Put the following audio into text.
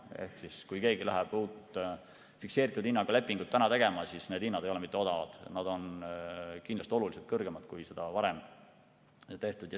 Ehk siis, kui keegi läheb uut fikseeritud hinnaga lepingut tegema, siis need hinnad ei ole mitte odavad, nad on kindlasti oluliselt kõrgemad, kui varem on olnud.